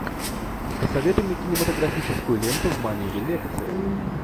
посоветуй мне кинематографическую ленту в манере лекции